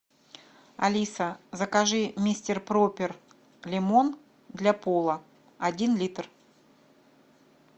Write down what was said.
алиса закажи мистер пропер лимон для пола один литр